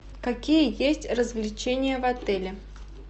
какие есть развлечения в отеле